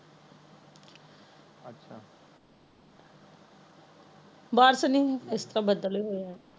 ਬਾਰਸ਼ ਨੀ ਇਸ ਤਾ ਬਦਲ ਹੀ ਹੋਇਆ ਏ